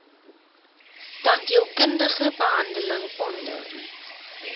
tandheelkundige behandeling onder